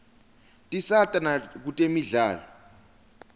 tisata nakutemidlalo